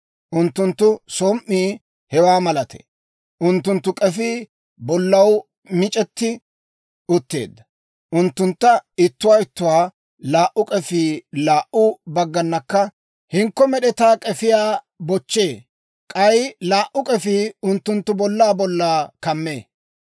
unttunttu som"ii hewaa malatee. Unttunttu k'efii bollaw mic'etti utteedda; unttunttu ittoo ittoo laa"u k'efii laa"u bagganakka hinkko med'etaa k'efiyaa bochchee; k'ay laa"u k'efii unttunttu bollaa bollaa kammee.